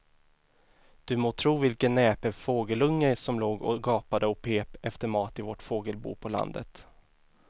Du må tro vilken näpen fågelunge som låg och gapade och pep efter mat i vårt fågelbo på landet.